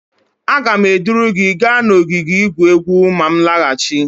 Aga m eduru gi gaa n'ogige igwu egwu ma m nlaghachi